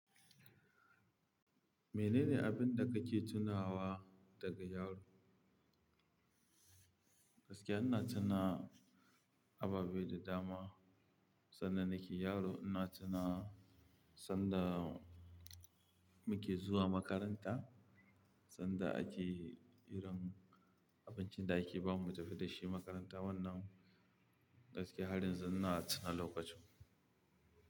Menene abin da kake tunawa daga yaro? Gaskiya ina tuna ababe da dama sanda nake yaro. Ina tuna sanda muke zuwa makaranta, sanda ake irin abincin da ake ba mu mu tafi da shi makaranta wannan gaskiya har yanzu ina tuna lokacin.